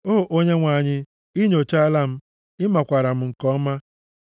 O Onyenwe anyị, ị nyochaala m, ị makwaara m nke ọma